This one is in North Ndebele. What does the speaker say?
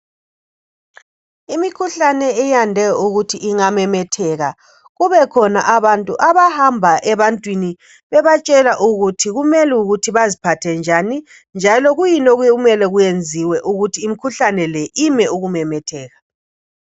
Imikhuhlane iyande ukuthi ingamemetheka kubekhona abantu abahamba ebantwini bebatshela ukuthi kumele beziphathe njani njalo kuyini okunye okumele kwenziwe ukuthi imkhuhlane le ime ukumemetheka